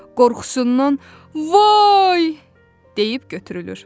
Qorxusundan "Vay!" deyib götürülür.